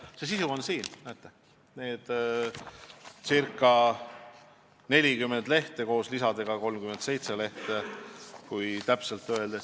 Leppe sisu on siin: näete, umbes 40 lehekülge.